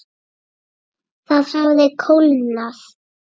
Það hafði kólnað.